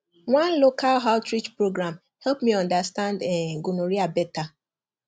one local outreach program help me understand um gonorrhea better